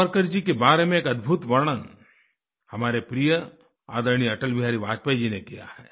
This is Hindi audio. सावरकर जी के बारे में एक अद्भुत वर्णन हमारे प्रिय आदरणीय अटल बिहारी वाजपेयी जी ने किया है